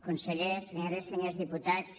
consellers senyores i senyors diputats